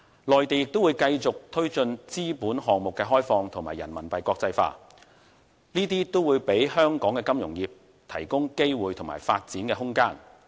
內地會繼續推進資本項目開放及人民幣國際化，這些都為香港金融業提供機會及發展空間。